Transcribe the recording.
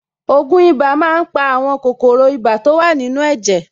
Ògùn ibà máa ń pa àwọn kòkòrò ibà to wà nínú ẹ̀jẹ̀.